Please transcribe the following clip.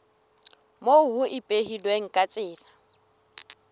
moo ho ipehilweng ka tsela